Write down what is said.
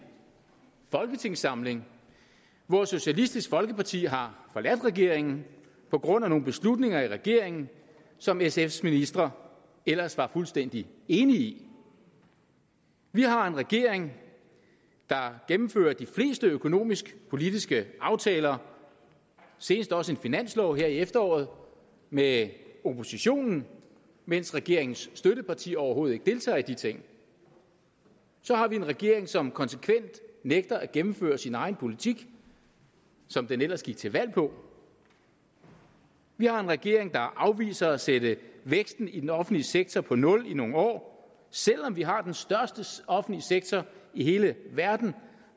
folketingssamling hvor socialistisk folkeparti har forladt regeringen på grund af nogle beslutninger i regeringen som sfs ministre ellers var fuldstændig enige i vi har en regering der gennemfører de fleste økonomisk politiske aftaler senest også en finanslov her i efteråret med oppositionen mens regeringens støtteparti overhovedet ikke deltager i de ting så har vi en regering som konsekvent nægter at gennemføre sin egen politik som den ellers gik til valg på vi har en regering der afviser at sætte væksten i den offentlige sektor på nul i nogle år selv om vi har den største offentlige sektor i hele verden